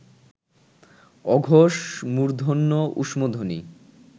অঘোষ মূর্ধন্য ঊষ্মধ্বনি